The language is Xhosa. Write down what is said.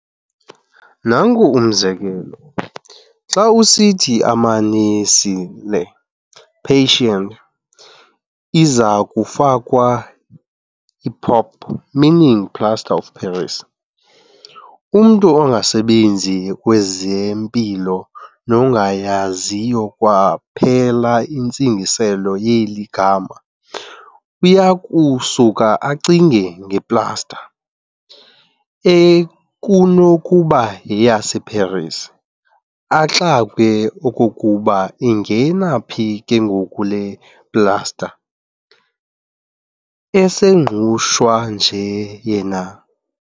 Nanku umzekelo, xa esithi amanesi'Le "patient" izakufakwa i-"PoP" meaning "plaster of Paris", umntu ongasebenzi kwezempilo nongayaziyo kwaphela intsingiselo yeli gama, uyakusuka acinge nge-"plaster" ekunokuba yeyaseParis, axakwe okokuba ingena phi ke ngoku le "plaster" eseNgqushwa nje yena.